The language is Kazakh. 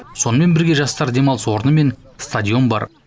сонымен бірге жастар демалыс орны мен стадион бар